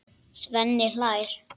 Svenni hlær.